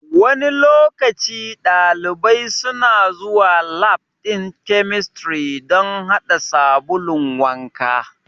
Wani lokaci ɗalibai suna zuwa lab ɗin chemistry dan haɗa sabulun wanka